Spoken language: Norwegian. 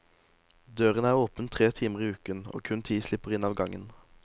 Døren er åpen tre timer i uken, og kun ti slipper inn av gangen.